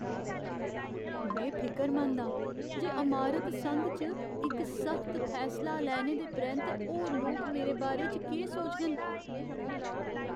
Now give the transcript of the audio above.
में फिकरमंद आं जे अमारत संघ च इक सख्त फैसला लैने दे परैंत्त होर लोक मेरे बारे च केह् सोचङन।